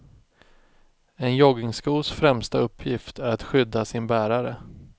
En joggingskos främsta uppgift är att skydda sin bärare.